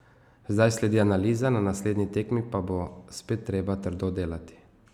Zdaj sledi analiza, na naslednji tekmi pa bo spet treba trdo delati.